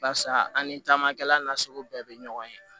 Barisa an ni camankɛlasigi bɛ ɲɔgɔn ye